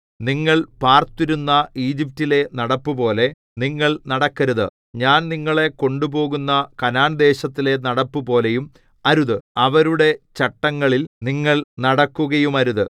നിങ്ങൾ പാർത്തിരുന്ന ഈജിപ്റ്റിലെ നടപ്പുപോലെ നിങ്ങൾ നടക്കരുത് ഞാൻ നിങ്ങളെ കൊണ്ടുപോകുന്ന കനാൻദേശത്തിലെ നടപ്പുപോലെയും അരുത് അവരുടെ ചട്ടങ്ങളിൽ നിങ്ങൾ നടക്കുകയുമരുത്